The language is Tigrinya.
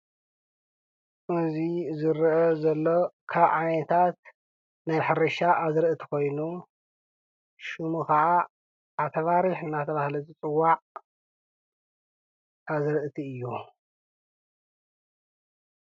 ኣብዚ ዝርአ ዘሎ ካብ ዓይነታት ናይ ሕርሻ ኣዝርእቲ ኮይኑ ሽሙ ከዓ ዓተባሪሕ እናተብሃለ ዝፅዋዕ ኣዝርእቲ እዩ።